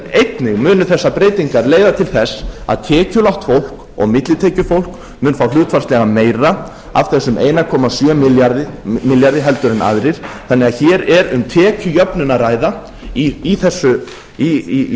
einnig munu þessar breytingar leiða til þess að tekjulágt fólk og millitekjufólk mun fá hlutfallslega meira af þessum einum komma sjö milljarði en aðrir þannig að hér er um tekjujöfnun að ræða í